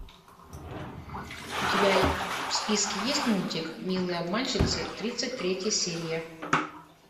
у тебя в списке есть мультик милые обманщицы тридцать третья серия